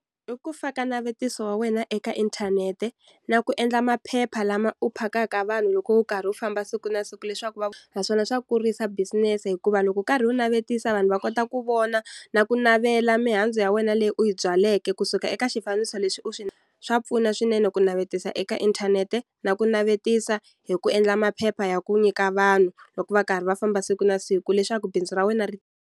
I ku faka navetiso wa wena eka inthanete na ku endla maphepha lama u phakaka vanhu loko u karhi u famba siku na siku leswaku naswona swa kurisa business-e hikuva loko u karhi wu navetisa vanhu va kota ku vona na ku navela mihandzu ya wena leyi u yi byaleke kusuka eka xifaniso leswi u swa pfuna swinene ku navetisa eka inthanete na ku navetisa hi ku endla maphepha ya ku nyika vanhu loko va karhi va famba siku na siku leswaku bindzu ra wena ri.